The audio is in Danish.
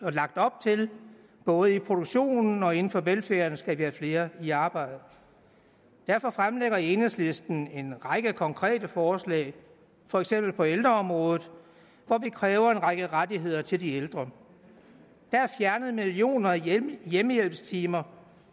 er lagt op til både i produktionen og inden for velfærden skal vi have flere i arbejde derfor fremlægger enhedslisten en række konkrete forslag for eksempel på ældreområdet hvor vi kræver en række rettigheder til de ældre der er fjernet millioner af hjemmehjælpstimer